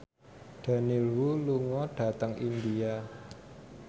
Daniel Wu lunga dhateng India